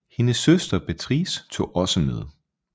Hendes søster Beatrice tog også med